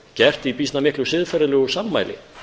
gert í býsna miklu siðferðilegu sammæli